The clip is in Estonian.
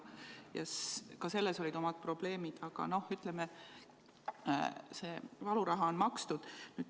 Ka selles olid omad probleemid, aga, ütleme, see valuraha on makstud.